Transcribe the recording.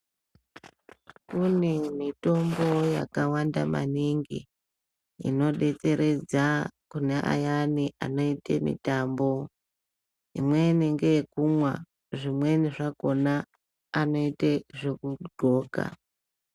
Kune mitombo yakawanda maningi inodetseredza kune ayani anoite mutambo imweni ngeyekumwa zvimweni zvakhona anoite zvekudxoka.